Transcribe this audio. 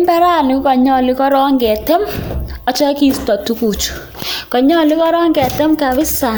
Mbarani kokonyolu korok ketem akisto tuguchu, konyolu korok kisto kapisa